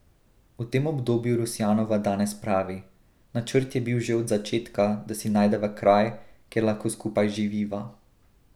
O tem obdobju Rusjanova danes pravi: 'Načrt je bil že od začetka, da si najdeva kraj, kjer lahko skupaj živiva.